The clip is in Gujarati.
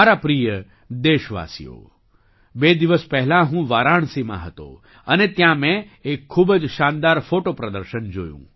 મારા પ્રિય દેશવાસીઓ બે દિવસ પહેલાં હું વારાણસીમાં હતો અને ત્યાં મેં એક ખૂબ જ શાનદાર ફૉટો પ્રદર્શન જોયું